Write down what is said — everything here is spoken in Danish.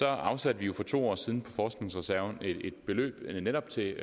afsatte vi for to år siden forskningsreserven et beløb netop til